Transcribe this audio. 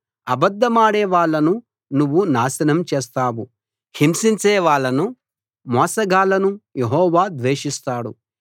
అబద్ధమాడే వాళ్ళను నువ్వు నాశనం చేస్తావు హింసించేవాళ్ళను మోసగాళ్ళను యెహోవా ద్వేషిస్తాడు